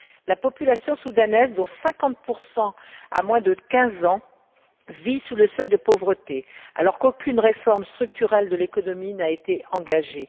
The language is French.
La population soudanaise, dont 50 a moins de quinze ans, vit sous le seuil de pauvreté, alors qu'aucune réforme structurelle de l'économie n'a été engagée.